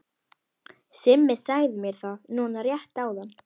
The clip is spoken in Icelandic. Simmi sagði mér það núna rétt áðan.